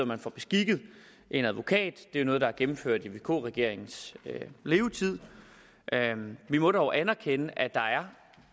man får beskikket en advokat det er noget der er gennemført i vk regeringens levetid vi må dog anerkende at der er